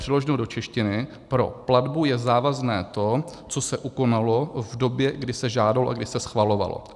Přeloženo do češtiny, pro platbu je závazné to, co se ukonalo v době, kdy se žádalo a kdy se schvalovalo.